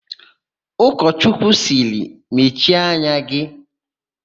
Ụkọchọchukwu sịrị, "mechie anya gị"!